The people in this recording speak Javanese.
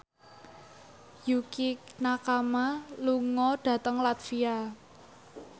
Yukie Nakama lunga dhateng latvia